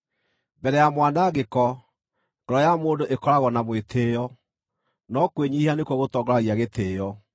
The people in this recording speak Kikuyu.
Mbere ya mwanangĩko, ngoro ya mũndũ ĩkoragwo na mwĩtĩĩo, no kwĩnyiihia nĩkuo gũtongoragia gĩtĩĩo.